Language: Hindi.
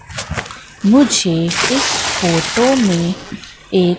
मुझे इस फोटो में एक--